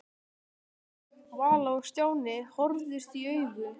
Vala og Stjáni horfðust í augu.